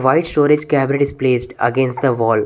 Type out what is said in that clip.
White storage cabinet is placed against the wall.